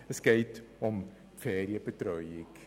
Es geht um die Ferienbetreuung.